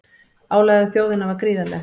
Álagið á þjóðina var gríðarlegt